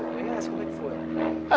Como é que foi?